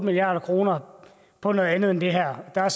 milliard kroner på noget andet end det her der er